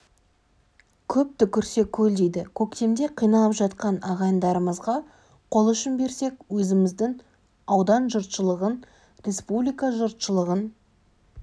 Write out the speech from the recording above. көп түкірсе көл дейді көктемде қиналып жатқан ағайындарымызға қол ұшын берсек өзіміздің аудан жұртшылығын республика жұртшылығын